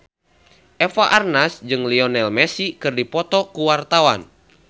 Eva Arnaz jeung Lionel Messi keur dipoto ku wartawan